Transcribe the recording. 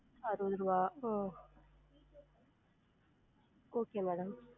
அறுவது ருவா உம் okay madam